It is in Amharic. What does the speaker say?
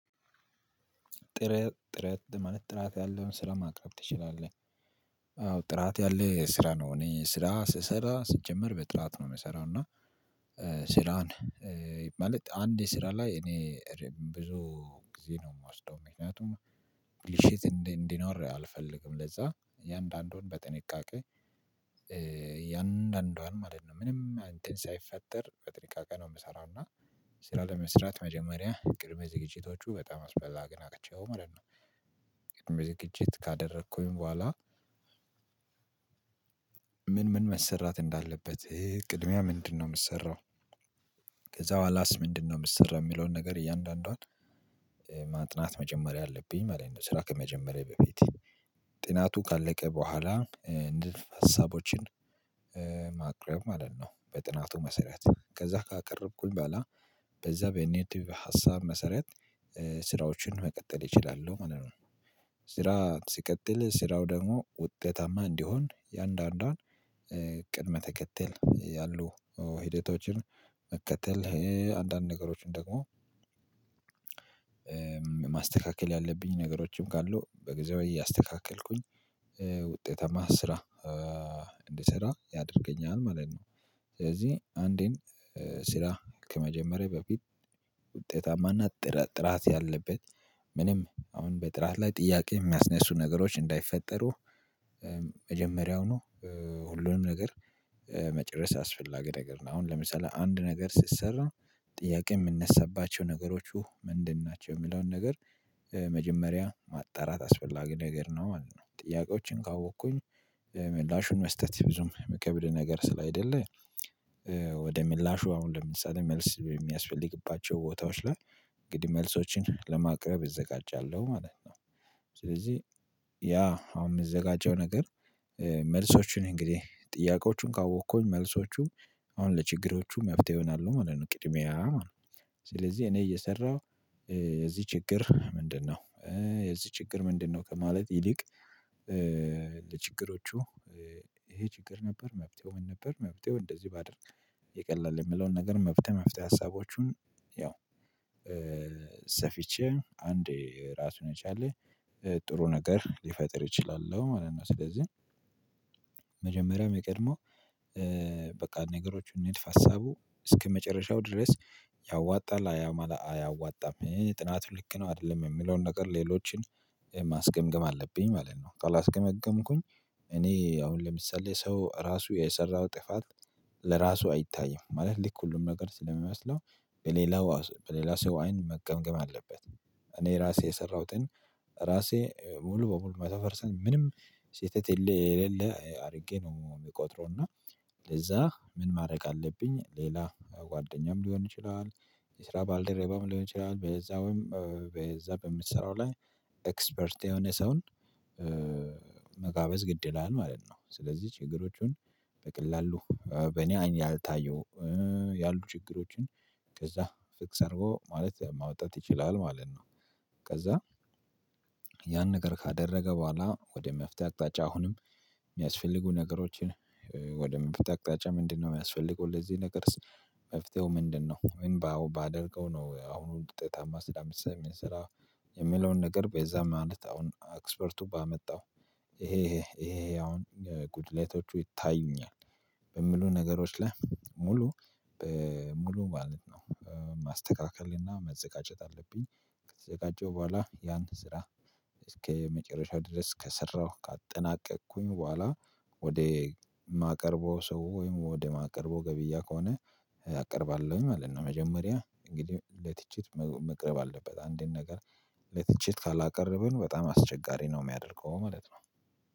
ጥረት ጥረት ማለት ጥራት ያለውን ስራ ማቅረብ ትችላለህ? አዎ ጥራት ያለ ስራ ነው እኔ ስራ ስሰራ ስጀምር በጥራት ነው የምሰራው። እና ስራን ማለት አንድ የስራ ላይ እኔ ብዙ ጊዜ ነው የምወስደው። ምክንያቱም ብልሽት እንዲኖር አልፈልግም። ለዛ የአንዳንዱን በጥንቃቄ የአንዳንዷን ማለት ነው ምንም እንተን ሳይፈጠር በጥንቃቄ የምሰራው። እና ስራ ለመስራት መጀመሪያ ቅድም ዝግጅቶቹ በጣም አስፈላጊ ናቸው ማለት ነው። ቅድመ ዝግጅት ካደረኩኝ በኋላ ምን መሰራት እንዳለበት ቅድሚያ ምንድነው የምሰራው ከዛ በኋላስ ምንድነው የሚሰራው የሚለውን ነገር እያንዳንዷን ማጥናት መጀመር አለብኝ ማለት ነው ስራ ከመጀመሪያዬ በፊት። ጥናቱ ካለቀ በኋላ ንድፈ ሀሳቦችን ማቅረብ ማለት ነው በጥናቱ መሰረት። ከዛ ካቀረብኩኝ በኋላ በዛ በኔቲቭ ሀሳብ መሰረት ስራዎችን መቀጠል ይችላሉ ማለት ነው። ስራ ሲቀጥል ስራው ደግሞ ውጤታማ እንዲሆን የአንዳንዷን ቅድመ ተከተል ያሉ ሂደቶችን መከተል አንዳንድ ነገሮችን ደግሞ ማስተካከል ያለብኝ ነገሮችም ካሉ በጊዜው እያስተካከልኩኝ ውጤታማ ስራ እንድሰራ ያደርገኛል ማለት ነው። ስለዚህ አንዴን ስራ ከመጀመሪያ በፊት ውጤታማና ጥራት ጥራት ያለበት ምንም አሁን በጥራት ላይ ጥያቄ የሚያስነሱ ነገሮች እንዳይፈጠሩ መጀመሪያው ነው ሁሉንም ነገር መጨረስ አስፈላጊ ነገር ነው። አሁን ለምሳሌ አንድ ነገር ስትሰራ ጥያቄ የምነሳባቸው ነገሮች ምንድን ናቸው የሚለውን ነገር መጀመሪያ ማጣራት አስፈላጊ ነገር ነው ማለት ነው። ጥያቄዎችን ካወቅኩኝ ምላሹን መስጠት ብዙም የምከብድ ነገር ስላይደለ ወደ ምላሹ አሁን ለምሳሌ መልስ በሚያስፈልግባቸው ቦታዎች ላይ እንግዲህ መልሶችን ለማቅረብ እዘጋጃለሁ ማለት ነው። ስለዚህ ያ አሁን የምዘጋጀው ነገር መልሶችን እንግዲህ ጥያቄዎቹን ካወቅኩኝ መልሶቹም አሁን ለችግሮቹ መፍትሄ ይሆናሉ ማለት ነው ቅድሚያ ማለት ነው። ስለዚህ እኔ እየሰራሁ የዚህ ችግር ምንድነው የዚህ ችግር ምንድነው ከማለት ይልቅ ለችግሮቹ ይሄ ችግር ነበር መፍትሄው ምን ነበር መፍትሄው እንደዚህ ባደርግ ይቀላል የምለውን ነገር መፍትሄ መፍትሄ ሀሳቦቹን ያው ሰፊቼ አንዴ ራሱን የቻለ ጥሩ ነገር ልፈጥር እችላለው ማለት ነው። ስለዚህ መጀመሪያም የሚቀድመው በቃ ነገሮችን ንድፈ ሀሳቡ እስከመጨረሻው ድረስ ያዋጣል አያዋጣም ይሄ ጥናቱ ልክ ነው አይደለም የሚለውን ነገር ሌሎችን ማስገምገም አለብኝ ማለት ነው። ካላስገመገምኩኝ እኔ አሁን ለምሳሌ ሰው ራሱ የሰራው ጥፋት ለራሱ አይታይም። ማለት ልክ ሁሉን ነገር ስለሚመስለው በሌላው በሌላ ሰው አይን መገምገም አለበት። እኔ ራሴ የሰራሁትን ራሴ ሙሉ በሙሉ መቶ ፐርሰንት ምንም ስህተት የሌለ አድርጌ ነው የሚቆጥረው። እና ለዛ ምን ማድረግ አለብኝ ሌላ ጓደኛም ሊሆን ይችላል የስራ ባልደረባም ሊሆን ይችላል በዛውም በዛ በምትሰራው ላይ ኤክስፐርት የሆነ ሰውን መጋበዝ ግድ ይላል ማለት ነው። ስለዚህ ችግሮቹን በቀላሉ በኔ አይን ያልታየው ያሉ ችግሮችን ከዛ ፊክስ አድርጎ ማለት ማውጣት ይችላል ማለት ነው። ከዛ ያን ነገር ካደረገ በኋላ ወደ መፍትሄ አቅጣጫ አሁንም የሚያስፈልጉ ነገሮችን ወደ ምን ብታቅጣጫ ምንድነው የሚያስፈልገው? ለዚህ ነገር መፍትሄው ምንድነው? ምን ባደርገው ነው አሁን ውጤታማ ስራ የምሰራ? የምለውን ነገር በዛ ማለት አሁን ኤክስፐርቱ ባመጣው ይሄ ይሄ አሁን ጉድለቶቹ ይታዩኛል በሚሉ ነገሮች ላይ ሙሉ ሙሉ ማለት ነው ማስተካከልና መዘጋጀት አለብኝ። ከተዘጋጀው በኋላ ያን ስራ እስከመጨረሻው ድረስ ከሰራሁ ካጠናቀቅኩኝ በኋላ ወደ ማቀርበው ሰው ወይም ወደ ማቀርበው ገብያ ከሆነ አቀርባለሁኝ ማለት ነው። መጀመሪያ እንግዲህ ለትችት መቅረብ አለበት። አንድን ነገር ለትችት ካላቀረብን በጣም አስቸጋሪ ነው የሚያደርገው ማለት ነው።